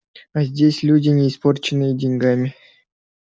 а здесь люди не испорченные деньгами